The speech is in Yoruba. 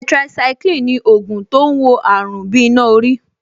Tetracycline ni ògùn tó ń wo àrùn bí iná orí